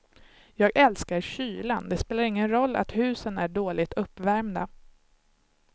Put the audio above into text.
Jag älskar kylan, det spelar ingen roll att husen är dåligt uppvärmda.